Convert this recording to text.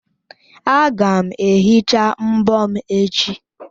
Aga m ehicha mbọ m echi.